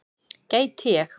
Gæti ég.